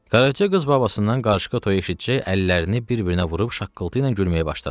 Qaraca qız babasından qarışqa toyu eşitcək əllərini bir-birinə vurub şaqqıltı ilə gülməyə başladı.